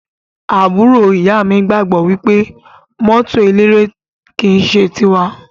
Àbúrò ìyá mi gbagbọ wipe mọto eléré ki n ṣe ti wa.